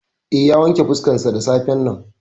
Eh, ya wanke fuskarsa da safen nan.